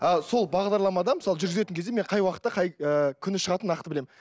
ал сол бағдарламада мысалы жүргізетін кезде мен қай уақытта қай ы күні шығатынын нақты білемін